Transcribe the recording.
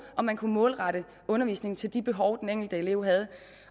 og man kunne målrette undervisningen til de behov den enkelte elev havde